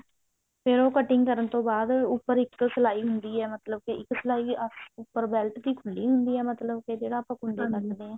ਤੇ ਉਹ cutting ਕਰਨ ਤੋਂ ਬਾਅਦ ਉੱਪਰ ਇੱਕ ਸਲਾਈ ਹੁੰਦੀ ਹੈ ਮਤਲਬ ਕੀ ਇੱਕ ਸਲਾਈ ਉੱਪਰ belt ਦੀ ਖੁੱਲੀ ਹੁੰਦੀ ਆ ਮਤਲਬ ਕੀ ਜਿਹੜਾ ਆਪਾਂ ਕੱਢਦੇ ਹਾਂ